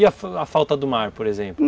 E a falta do mar, por exemplo?